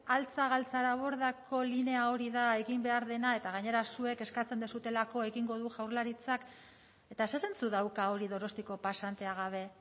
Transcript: altza galtzarabordako linea hori da egin behar dena eta gainera zuek eskatzen duzuelako egingo du jaurlaritzaketa zer zentzu dauka hori donostiako pasantea gabe